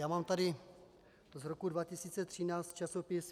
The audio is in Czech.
Já mám tady z roku 2013 časopis